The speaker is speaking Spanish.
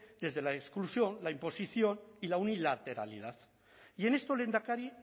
desde la exclusión la imposición y la unilateralidad y en esto lehendakari